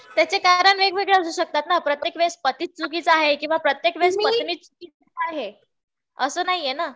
त्याचे कारण वेगवेगळे असू शकतात ना. प्रत्येक वेळेस पतीचं चुकीचा आहे किंवा पत्नीचं चुकीची आहे असं नाहीये ना.